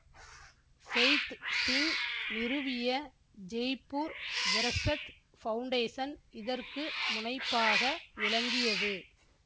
faith Singh நிறுவிய Jaipur Virasat foundation இதற்கு முனைப்பாக விளங்கியது